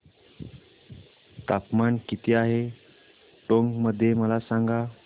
तापमान किती आहे टोंक मध्ये मला सांगा